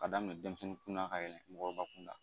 Ka daminɛ denmisɛnnin kunda ka yɛlɛ mɔgɔkɔrɔba kunda